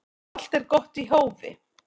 Allt er gott í hófi